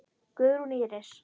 Guðrún Íris.